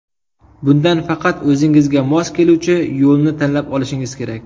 Bunda faqat o‘zingizga mos keluvchi yo‘lni tanlab olishingiz kerak.